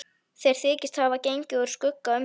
Þeir þykjast hafa gengið úr skugga um það.